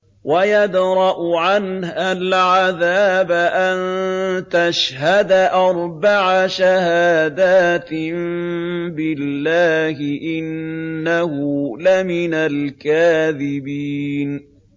وَيَدْرَأُ عَنْهَا الْعَذَابَ أَن تَشْهَدَ أَرْبَعَ شَهَادَاتٍ بِاللَّهِ ۙ إِنَّهُ لَمِنَ الْكَاذِبِينَ